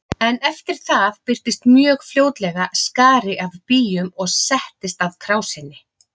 En eftir það birtist mjög fljótlega skari af býjum og settist að krásinni.